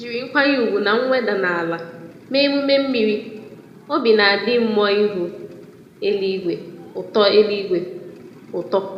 Ejírí nkwanye ùgwù na mweda n'ala mee emume mmiri, obi nadi mmụọ ihu eluigwe ụtọ eluigwe ụtọ